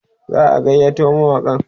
za'a gayyato mawaƙan